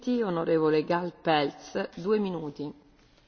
Tisztelt Elnök Asszony, tisztelt Képviselőtársaim!